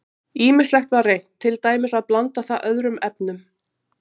Ýmislegt var reynt, til dæmis að blanda það öðrum efnum.